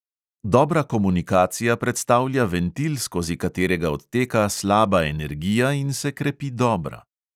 Dobra komunikacija predstavlja ventil, skozi katerega odteka slaba energija in se krepi dobra.